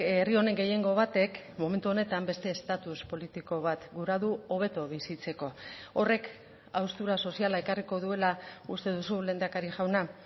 herri honen gehiengo batek momentu honetan beste estatus politiko bat gura du hobeto bizitzeko horrek haustura soziala ekarriko duela uste duzu lehendakari jauna